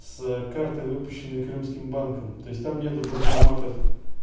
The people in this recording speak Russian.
с карты выпущенные крымским банком то есть там нет банкоматов